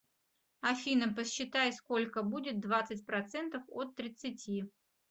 афина посчитай сколько будет двадцать процентов от тридцати